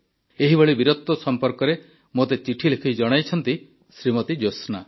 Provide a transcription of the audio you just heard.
ଏହିଭଳି ବୀରତ୍ୱ ସମ୍ପର୍କରେ ମୋତେ ଚିଠିଲେଖି ଜଣାଇଛନ୍ତି ଶ୍ରୀମତୀ ଜ୍ୟୋତ୍ସ୍ନା